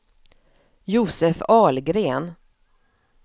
Josef Ahlgren